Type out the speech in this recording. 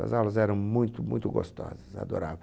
As aulas eram muito, muito gostosas, eu adorava.